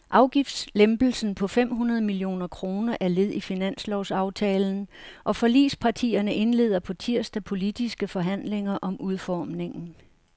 Afgiftslempelsen på fem hundrede millioner kroner er led i finanslovsaftalen, og forligspartierne indleder på tirsdag politiske forhandlinger om udformningen.